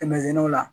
Kɛmɛ o la